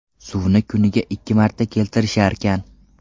Suvni kuniga ikki marta keltirisharkan.